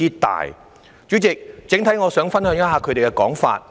代理主席，我想整體上分享一下他們的說法。